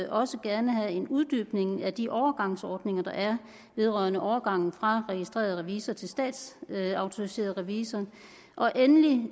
også gerne have en uddybning af de overgangsordninger der er vedrørende overgangen fra registreret revisor til statsautoriseret revisor og endelig